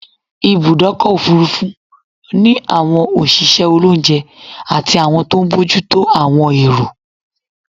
Ibùdọ́kọ̀ òfurufú ni àwọn òṣìṣẹ́ olóúnje àti àwọn tó n bójútó àwọn èrò